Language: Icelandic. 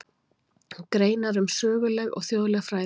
Greinar um söguleg og þjóðleg fræði.